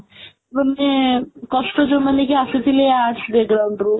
ମାନେ କଷ୍ଟ ଯୋଉ ମାନେ କି ଆସୁଥିଲେ arts ରୁ